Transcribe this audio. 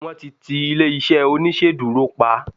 wan ti ti ilé iṣẹ oniṣeduro pa